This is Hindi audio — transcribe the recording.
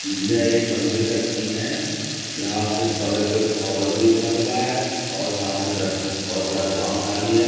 यह एक मंदिर का सीन है यहाँ के बगल पे ओवर ब्रिज बना हुआ है और सामने ब बोहोत बड़ा ग्राउंड खाली है।